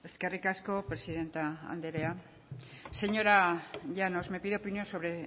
eskerrik asko presidente andrea señora llanos me pide opinión sobre